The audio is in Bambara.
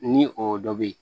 Ni o dɔ be yen